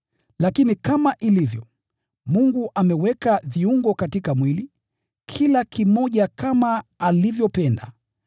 Lakini kama ilivyo, Mungu ameweka viungo katika mwili, kila kimoja kama alivyopenda.